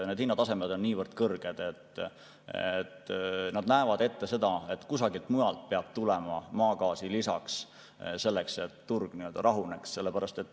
Need hinnatasemed on niivõrd kõrged, et nad näevad ette seda, et kusagilt mujalt peab tulema maagaasi lisaks, et turg rahuneks.